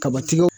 Kabatigɛw